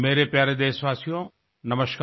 मेरे प्यारे देशवासियो नमस्कार